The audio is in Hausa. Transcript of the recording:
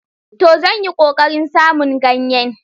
To! Zan yi ƙoƙarin samun ganyen.